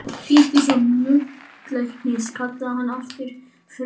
Péturssonar nuddlæknis kallaði hann alltaf Frú Nudd.